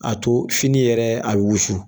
A to fini yɛrɛ a bi wusu